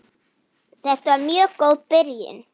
Þetta var mjög góð byrjun.